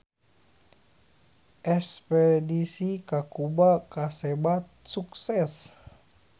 Espedisi ka Kuba kasebat sukses